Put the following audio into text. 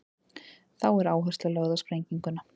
þá er áhersla lögð á sprenginguna